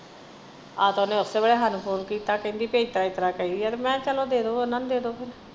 ਆਹ ਤਾਂ ਓਹਨੇ ਓਸੇ ਵਾਲੇ ਹਾਨੂੰ phone ਕਹਿੰਦੀ ਏਤਰਾਂ ਕਹਿ ਆ ਮੈਂ ਚਲੋ ਦੇਦੋ ਓਹਨਾ ਨੂੰ ਦੇਦੋ ਫੇਰ।